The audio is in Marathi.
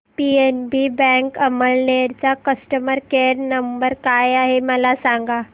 पीएनबी बँक अमळनेर चा कस्टमर केयर नंबर काय आहे मला सांगा